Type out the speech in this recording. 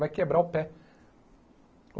Vai quebrar o pé.